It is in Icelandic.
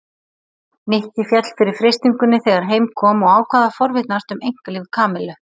Nikki féll fyrir freistingunni þegar heim kom og ákvað að forvitnast um einkalíf Kamillu.